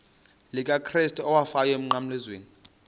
likakrestu owafayo emnqamlezweni